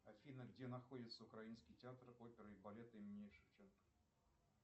афина где находится украинский театр оперы и балета имени шевченко